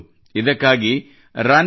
ಇದಕ್ಕಾಗಿ runforunity